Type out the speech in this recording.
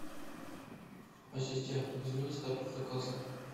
ассистент измени статус заказа